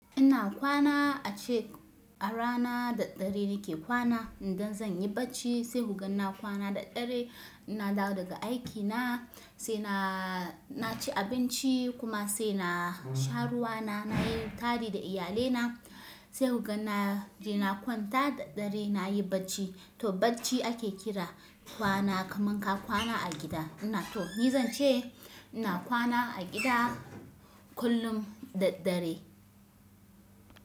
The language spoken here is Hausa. Ina kwana a check arana da dare nake kwana. Idan zan yi bacci sai hgan na kwana da dare. Na dawo daga aikina sai na ci abinci kuma sai na sha ruwana, na yi tari da iyalina sai hgan na je na kwanta da dare nayi bacci. To bacci ake kira kwana kamanka kwana a gida ina. To ni zan ce ina kwana a gida kullum da dare.